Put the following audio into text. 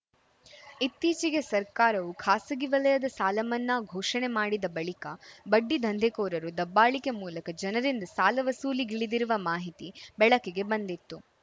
ಇತ್ತೀಚೆಗೆ ಸರ್ಕಾರವು ಖಾಸಗಿ ವಲಯದ ಸಾಲಮನ್ನಾ ಘೋಷಣೆ ಮಾಡಿದ ಬಳಿಕ ಬಡ್ಡಿ ದಂಧೆಕೋರರು ದಬ್ಬಾಳಿಕೆ ಮೂಲಕ ಜನರಿಂದ ಸಾಲ ವಸೂಲಿಗಿಳಿದಿರುವ ಮಾಹಿತಿ ಬೆಳಕಿಗೆ ಬಂದಿತ್ತು